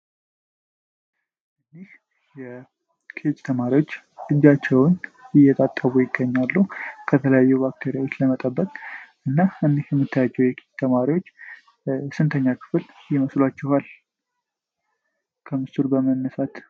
የኬጅ ተማሪወች እጃቸዉን እየታጠቡ ይገኛሉ ከተለያዩ ባክቴሪያዎች ለመጠበቅ እና እንዲሁም የምታዩአቸዉ የኬጅ ተማሪወች ስንተኛ ክፍል ይመስሉአችኋል? ከምስሉ በመነሳት!